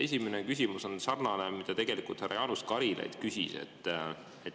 Esimene küsimus on sarnane, mida tegelikult härra Jaanus Karilaid juba küsis.